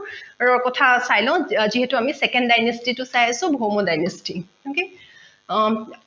চাই লও যিহেতু আমি second dynasty টো চাই আছো ভৌম dinesty